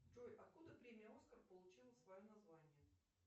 джой откуда премия оскар получила свое название